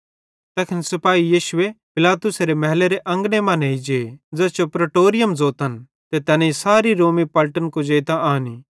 तैखन सिपाही यीशुए पिलातुसेरे महलेरे अंगने मां नेइ जे ज़ैस जो प्रीटोरियम ज़ोतन ते तैनेईं सारी रोमी पलटन कुजेइतां आनी